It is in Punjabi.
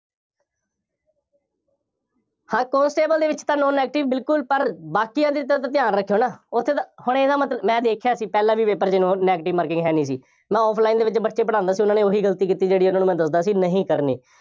ਹਾਂ constable ਦੇ ਵਿੱਚ ਤਾਂ no negative ਬਿਲਕੁੱਲ, ਪਰ ਬਾਕੀਆਂ ਚੀਜ਼ਾਂ ਦਾ ਧਿਆਨ ਰੱਖਿਓ ਨਾ, ਉੱਥੇ ਤਾਂ, ਹੁਣ ਇਹਦਾ ਮਤਲਬ, ਮੈਂ ਦੇਖਿਆ ਸੀ, ਪਹਿਲਾਂ ਵੀ paper ਚ no negative marking ਹੈ ਨਹੀਂ ਸੀ। ਮੈਂ offline ਦੇ ਵਿੱਚ ਬੱਚੇ ਪੜ੍ਹਾਉਂਦਾ ਸੀ, ਉਹਨਾ ਨੇ ਉਹੀ ਗਲਤੀ ਕੀਤੀ ਜਿਹੜੀ ਉਹਨਾ ਨੂੰ ਮੈਂ ਦੱਸਦਾ ਸੀ, ਨਹੀਂ ਕਰਨੀ।